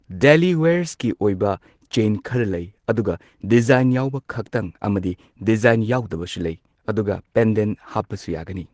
Daily wears ꯀꯤ ꯑꯣꯏꯕ chain ꯈꯔ ꯂꯩ꯫ ꯑꯗꯨꯒ ꯗꯤꯖꯥꯏꯟ ꯌꯥꯎꯕ ꯈꯇꯪ ꯑꯃꯗꯤ ꯗꯤꯖꯥꯏꯟ ꯌꯥꯎꯗꯕꯁꯨ ꯂꯩ꯫ ꯑꯗꯨꯒ ꯄꯦꯟꯗꯦꯟ ꯍꯥꯞꯄꯁꯨ ꯌꯥꯒꯅꯤ꯫